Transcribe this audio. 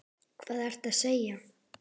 Hvað ertu að segja?